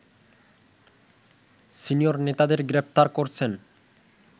senior নেতাদের গ্রেপ্তার করছেন